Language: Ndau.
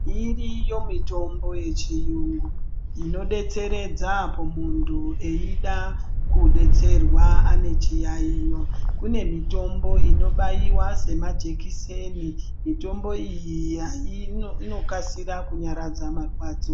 Iriyo mitombo yechiungu, inodetseredza apo muntu eyida kudetserwa anechiyayiyo. Kunemitombo inobaiwa semajekiseni. Mitombo iyi inokasira kunyaradza marwadzo.